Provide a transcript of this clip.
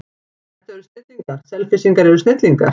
Þetta eru snillingar, Selfyssingar eru snillingar.